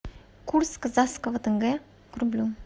курс казахского тенге к рублю